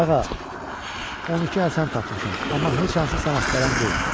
Qağa, 12 Həsən tapmışam, amma heç hansı sən axtaran deyil.